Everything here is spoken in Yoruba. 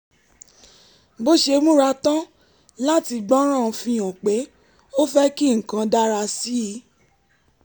bó ṣe múra tán láti gbọ́ràn fihàn pé ó fẹ́ kí nǹkan dára sí i